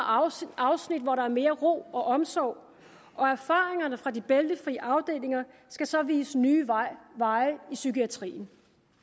afsnit hvor der er mere ro og omsorg og erfaringerne fra de bæltefri afdelinger skal så vise nye veje i psykiatrien